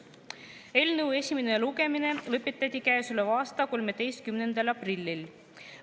Eelnõu esimene lugemine lõpetati käesoleva aasta 13. aprillil.